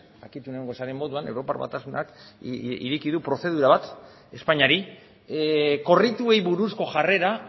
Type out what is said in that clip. jakitun egongo zaren moduan europar batasunak prozedura bat ireki du espainiari korrituei buruzko jarrera